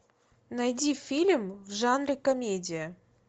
найди фильм в жанре комедия